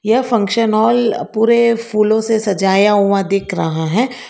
यह function hall पूरे फूलों से सजाया हुआ दिख रहा है।